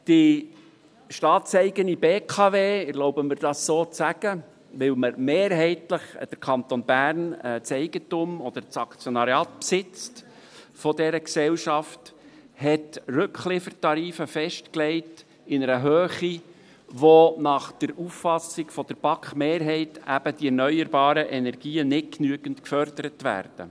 Die staatseigene BKW – ich erlaube mir, dies so zu sagen, weil der Kanton Bern mehrheitlich das Eigentum oder das Aktionariat dieser Gesellschaft besitzt – hat Rückliefertarife in einer Höhe festgelegt, durch die nach der Auffassung der BaK-Mehrheit die erneuerbaren Energien nicht genügend gefördert werden.